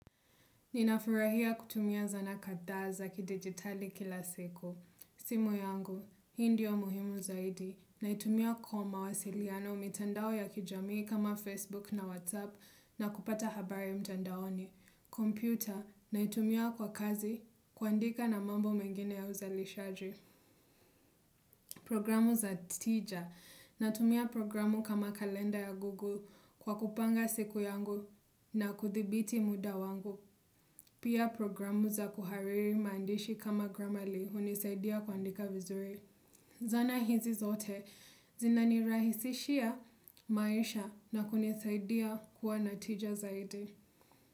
Ninafurahia kutumia zana kadhaa zaa ki digitali kila siku. Simu yangu, hii ndio muhimu zaidi. Na itumia kwa mawasiliano mitandao ya kijamii kama Facebook na WhatsApp na kupata habari mtandaoni. Computer, na itumia kwa kazi kuandika na mambo mengine ya uzalishaji. Programu za teacher, na tumia programu kama kalenda ya Google kwa kupanga siku yangu na kuthibiti muda wangu. Pia programu za kuhariri maandishi kama gramali hunisaidia kuandika vizuri. Zana hizi zote zina nirahisishia maisha na kunisaidia kwa natija zaidi.